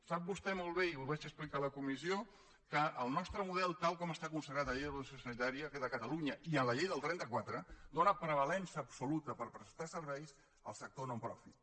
sap vostè molt bé i ho vaig explicar a la comissió que el nostre model tal com està consagrat en la llei d’ordenació sanitària de catalunya i en la llei del trenta quatre dóna prevalença absoluta per prestar serveis al sector nonprofit